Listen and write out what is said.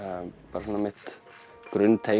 bara mitt